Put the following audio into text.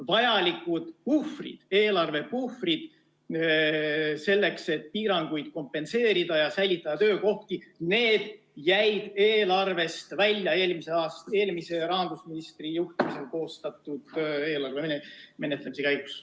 Vajalikud eelarvepuhvrid selleks, et piiranguid kompenseerida ja säilitada töökohti, jäid eelarvest välja eelmise rahandusministri juhtimisel koostatud eelarve menetlemise käigus.